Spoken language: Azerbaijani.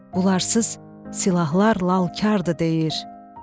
Bunlarsız silahlar lalkardır deyir.